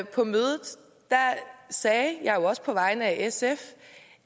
på mødet sagde jeg jo også på vegne af sf